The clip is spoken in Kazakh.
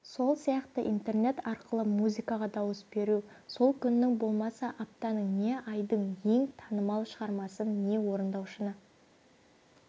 сол сияқты интернет арқылы музыкаға дауыс беру сол күннің болмаса аптаның не айдың ең танымал шығармасын не орындаушыны